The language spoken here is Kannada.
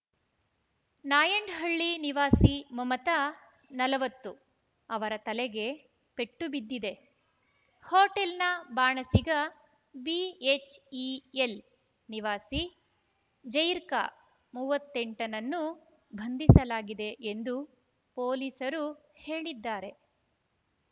ನಾಯಂಡಹಳ್ಳಿ ನಿವಾಸಿ ಮಮತಾ ನಲವತ್ತು ಅವರ ತಲೆಗೆ ಪೆಟ್ಟು ಬಿದ್ದಿದೆ ಹೋಟೆಲ್‌ನ ಬಾಣಸಿಗ ಬಿಎಚ್‌ಇಎಲ್‌ ನಿವಾಸಿ ಜೈಕಾರ್‌ ಮೂವತ್ತೆಂಟ ನನ್ನು ಬಂಧಿಸಲಾಗಿದೆ ಎಂದು ಪೊಲೀಸರು ಹೇಳಿದ್ದಾರೆ